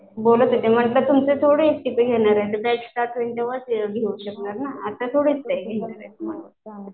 बोलत होते तिथे तुमचे थोडीच घेणार आहे घेऊ शकणार ना आता थोडीच